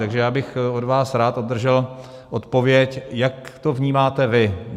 Takže já bych od vás rád obdržel odpověď, jak to vnímáte vy.